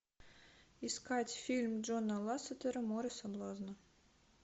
искать фильм джона лассетера море соблазна